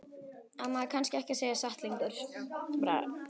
Á maður kannski ekki að segja satt lengur?